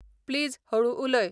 please हळूं उलय